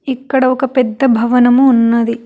ఇక్కడ ఒక పెద్ద భవనము ఉన్నది.